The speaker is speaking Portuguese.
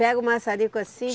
Pega o maçarico assim?